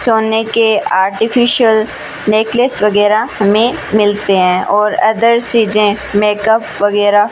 सोने के artificial necklace वगैरह हमें मिलते हैं और अदर चीज मेकअप वगैरह --